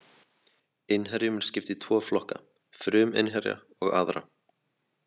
Innherjum er skipt í tvo flokka, fruminnherja og aðra.